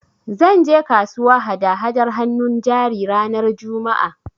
Zan je kasuwa hada-hadar hannun jari ranar Juma'a